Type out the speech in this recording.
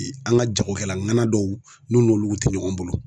an ŋa jagokɛla ŋana dɔw n'u n'olu te ɲɔgɔn bolo